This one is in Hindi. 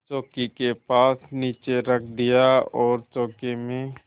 चौकी के पास नीचे रख दिया और चौके में